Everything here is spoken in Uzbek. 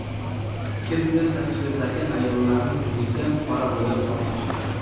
Kimdir tasvirdagi ayollarning yuziga qora bo‘yoq tortib chiqqan.